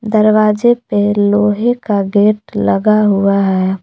दरवाजे पे लोहे का गेट लगा हुआ है।